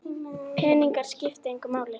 Peningar skipta engu máli